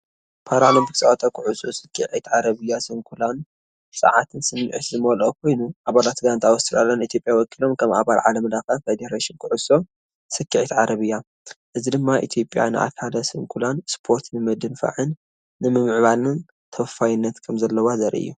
ፓራኦሎምፒክ ጸወታ ኩዕሶ ሰኪዔት ዓረብያ ስንኩላን ጸዓትን ስምዒትን ዝመልኦ ኮይኑኣባላት ጋንታ ኣውስትራልያ ንኢትዮጵያ ወኪሎም ከም ኣባል ዓለም ለኸ ፈደረሽን ኩዕሶ ሰኪዔት ዓረብያ። እዚ ድማ ኢትዮጵያ ንኣካለ ስንኩላን ስፖርት ንምድንፋዕን ንምምዕባልን ተወፋይነት ከምዘለዋ ዘርኢ እዩ።